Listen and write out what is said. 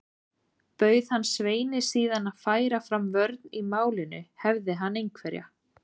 Bauð hann Sveini síðan að færa fram vörn í málinu, hefði hann einhverja.